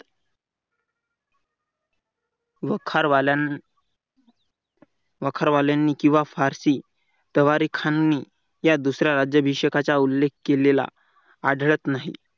वखार वाल्यान वखार वाल्यांनी किंवा फारसी तयारी खाली या दुसऱ्या राज्याभिषेकाचा उल्लेख केलेला आढळत नाही.